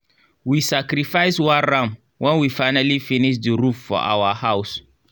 we sacrifice one ram when we finally finish the roof for our house.